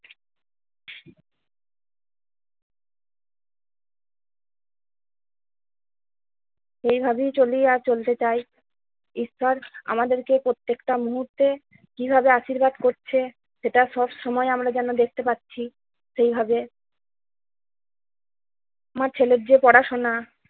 এই ভাবেই চলিয়া চলতে চাই। ঈশ্বর আমাদেরকে প্রত্যেকটা মুহূর্তে কিভাবে আশীর্বাদ করছে সেটা সব সময় আমরা যেন দেখতে পাচ্ছি সেইভাবে আমার ছেলের যে পড়াশোনা